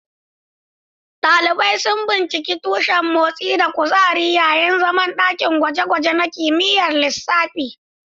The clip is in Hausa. Dalibai sun binciki tushen motsi da kuzari yayin zaman dakin gwaje-gwaje na kimiyyar lissafi.